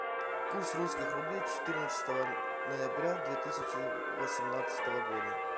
курс русских рублей четырнадцатого ноября две тысячи восемнадцатого года